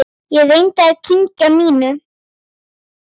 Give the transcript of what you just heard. Ég reyni að kyngja mínu.